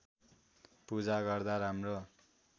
पूजा गर्दा राम्रो